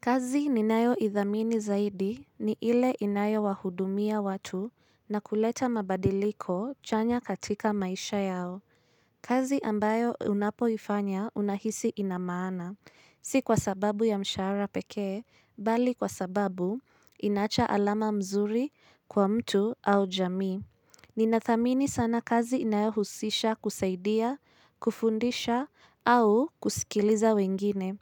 Kazi ninayo idhamini zaidi ni ile inayo wahudumia watu na kuleta mabadiliko chanya katika maisha yao. Kazi ambayo unapoifanya unahisi inamaana. Si kwa sababu ya mshahara pekee, bali kwa sababu inaacha alama mzuri kwa mtu au jamii. Ninathamini sana kazi inayohusisha kusaidia, kufundisha au kusikiliza wengine.